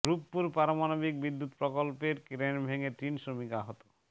রূপপুর পারমাণবিক বিদ্যুৎ প্রকল্পের ক্রেন ভেঙে তিন শ্রমিক আহত